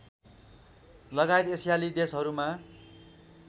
लगायत एसियाली देशहरूमा